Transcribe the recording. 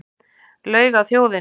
Laug að þjóðinni